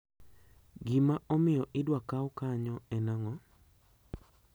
Gima omiyo idwa kaw kanyo en ang`o?